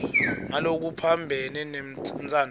ngalokuphambene nentsandvo yakho